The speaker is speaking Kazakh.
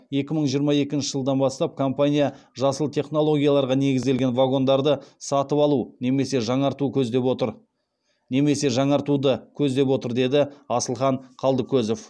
екі мың жиырма екінші жылдан бастап компания жасыл технологияларға негізделген вагондарды сатып алу немесе жаңартуды көздеп отыр деді асылхан қалдыкозов